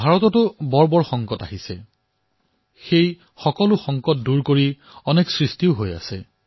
ভাৰত যেতিয়াই বৃহৎ সংকটৰ সন্মুখীন হৈছে সেই সময়তে বাধাসমূহো দূৰ কৰি অনেক সৃজনো হৈছে